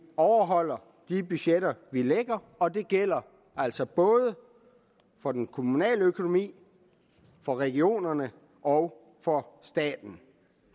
overholder de budgetter vi lægger og det gælder altså både for den kommunale økonomi for regionerne og for staten